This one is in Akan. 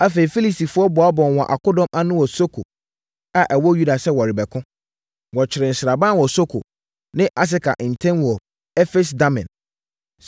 Afei, Filistifoɔ boaboaa wɔn akodɔm ano wɔ Soko a ɛwɔ Yuda sɛ wɔrebɛko. Wɔkyeree sraban wɔ Soko ne Aseka ntam wɔ Efes-Damim.